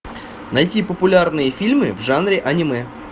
найти популярные фильмы в жанре аниме